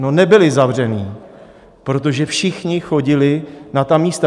No, nebyli zavření, protože všichni chodili na ta místa.